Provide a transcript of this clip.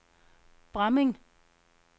Bramming